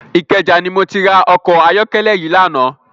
Ikeja ni mó ti rá òkò àyòkèlè yi làná